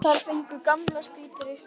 Þar fengu gamlar spýtur nýtt hlutverk.